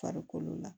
Farikolo la